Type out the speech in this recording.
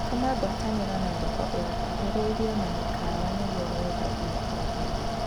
Tuma ngwatanĩro na thoko igũkuhĩrĩirie na mĩkawa nĩguo wendagie o hĩndĩ